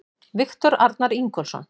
Viktor Arnar Ingólfsson